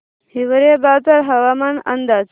हिवरेबाजार हवामान अंदाज